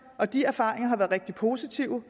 og de erfaringer er rigtig positive